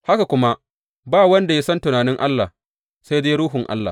Haka kuma ba wanda ya san tunanin Allah, sai dai Ruhun Allah.